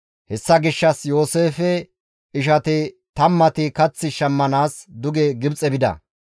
Hessa gishshas Yooseefe ishati tammati kath shammanaas duge Gibxe bida.